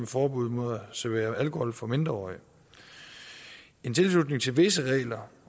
forbud mod at servere alkohol for mindreårige en tilslutning til visse regler